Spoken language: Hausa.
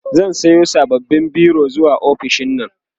zan Sayo sababbin biro zuwa ofishinnan